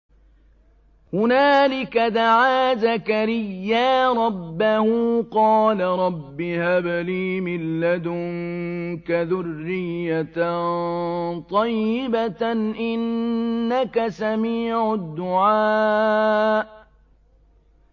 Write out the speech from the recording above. هُنَالِكَ دَعَا زَكَرِيَّا رَبَّهُ ۖ قَالَ رَبِّ هَبْ لِي مِن لَّدُنكَ ذُرِّيَّةً طَيِّبَةً ۖ إِنَّكَ سَمِيعُ الدُّعَاءِ